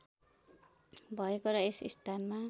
भएको र यस स्थानमा